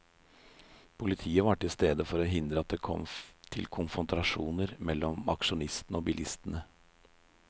Politiet var til stede for å hindre at det kom til konfrontasjoner mellom aksjonistene og bilistene.